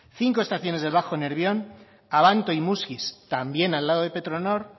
cinco estaciones de bajo nervión abanto y muskiz también al lado de petronor